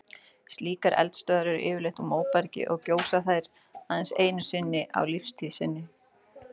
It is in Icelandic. Slíkar eldstöðvar eru yfirleitt úr móbergi og gjósa þær aðeins einu sinni á lífstíð sinni.